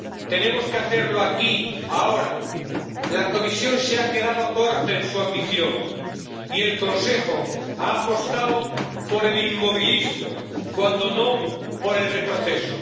Tenemos que hacerlo aquí, ahora. La Comisión se ha quedado corta en su ambición y el Consejo ha apostado por el inmovilismo, cuando no por el retroceso.